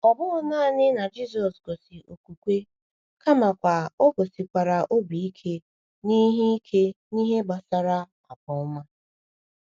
Ọ bụghị naanị na Jisọshụ gosi okwukwe, kamakwa o gosikwara obi ike n’ihe ike n’ihe gbasara agwa ọma.